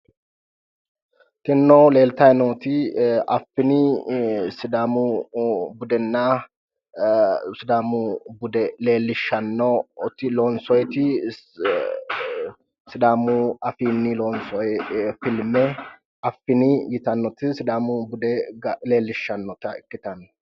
tinino leeltayi nooti affini sidaamu budenna sidaamu bude leellishshannoti loonsoyiiti sidaamu afiinni lonsooyi filme affini yitannoti sidaamu woga leellishshanno.